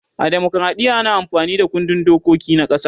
a demokradiya ana amfani Da kundin dokiki na ƙasa